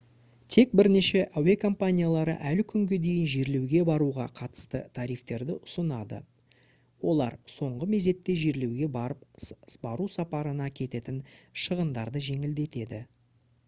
тек бірнеше әуе компаниялары әлі күнге дейін жерлеуге баруға қатысты тарифтерді ұсынады олар соңғы мезетте жерлеуге бару сапарына кететін шығындарды жеңілдетеді